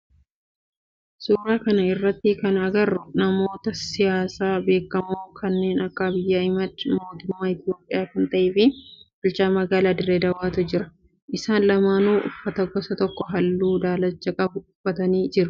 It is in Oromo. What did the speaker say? Suuraa kana irratti kana agarru namoota siyaasaa beekkamoo kanneen akka Abiiy Ahimeed mootummaa Itiyoophiyaa kan ta'e fi bulchaa magaalaa Dirree Dawaatu jira. Isaan lamaanuu uffata gosa tokkoo halluu daalacha qabu uffatanii jiru.